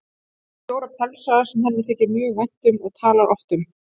Hún á fjóra pelsa sem henni þykir mjög vænt um og talar oft um.